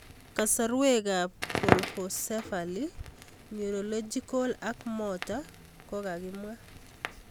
Kasarwek ab colpocephaly ,neurological ak motor ko kakimwaa